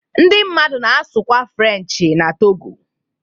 Ndị mmadụ na-asụkwa Frenchị n'Togo.